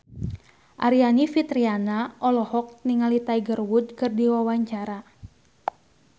Aryani Fitriana olohok ningali Tiger Wood keur diwawancara